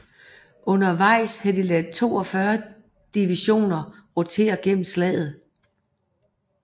Undervejs havde de ladet 42 divisioner rotere gennem slaget